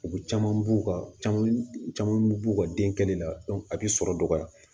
U bɛ caman b'u ka caman b'u ka denkɛ kɛnɛ la a bɛ sɔrɔ dɔgɔya